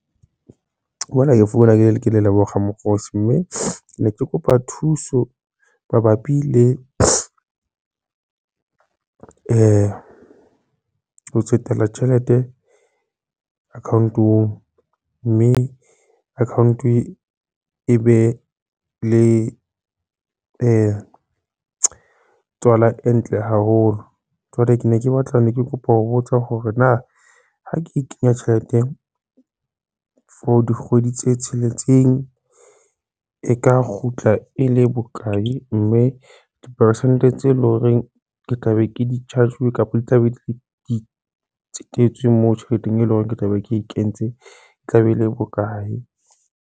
Mona ke founa ke le Lebogang Ramokhosi. Mme ne ke kopa thuso mabapi le ho tsetela tjhelete account-ong mme account e be le tswala ntle haholo. Jwale ke ne ke batla ne ke kopa ho botsa hore na ha ke kenya tjhelete for dikgwedi tse tsheletseng e ka kgutla e le bokae mme dipersente tse leng hore ke tla be ke di-charge kapa di tla be di tsetetswe moo tjheleteng e leng hore ke tla be ke e kentse e tla be e le bokae?